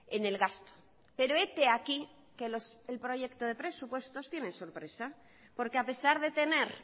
en el gasto pero hete aquí que el proyecto de presupuesto tiene sorpresa porque a pesar de tener